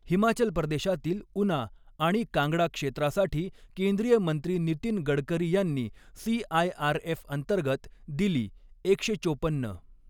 हिमाचल प्रदेशातील उना आणि कांगडा क्षेत्रासाठी केंद्रीय मंत्री नितीन गडकरी यांनी सीआयआरएफअंतर्गत दिली एकशे चोपन्न.